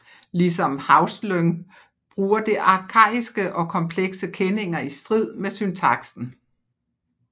Ligesom Haustlöng bruger det arkaiske og komplekse kenninger i strid med syntaksen